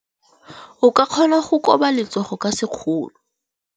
O ka kgona go koba letsogo ka sekgono.